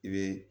I bɛ